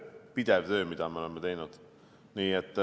Pidev töö, mida me oleme teinud!